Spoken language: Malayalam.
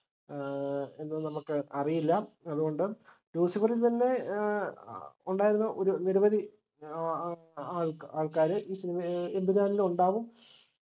ഏർ എന്ന് നമുക്ക് അറിയില്ല അതുകൊണ്ട് ലൂസിഫറിൽ തന്നെ ഏർ ഉണ്ടായിരുന്ന ഒരു നിരവധി ആ ആൾക്കാർ ഈ cinema ഏർ എമ്പുരാനിലു ഉണ്ടാവും